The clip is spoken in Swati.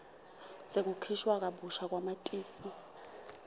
sekukhishwa kabusha kwamatisi